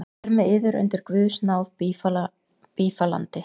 Hér með yður undir guðs náð bífalandi.